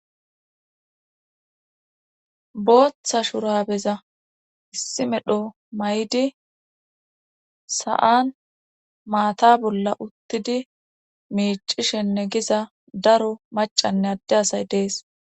Booththa shurabeza issi medho may7di sa7an maata bolla uttidi miicishenne giza daro macanne adde asay dees.